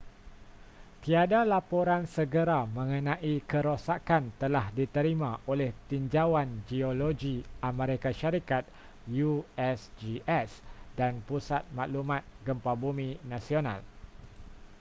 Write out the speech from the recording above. tiada laporan segera mengenai kerosakan telah diterima oleh tinjauan geologi amerika syarikat usgs dan pusat maklumat gempa bumi nasional